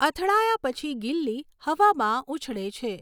અથડાયા પછી ગિલ્લી હવામાં ઊછળે છે.